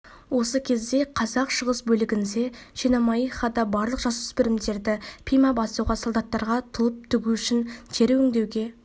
осы кезде қазақ шығыс бөлігінде шемонаихада барлық жасөспірімдерді пима басуға солдаттарға тұлып тігу үшін тері өңдеуге